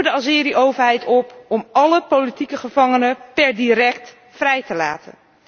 Wij roepen de Azeri overheid op om alle politieke gevangenen per direct vrij te laten.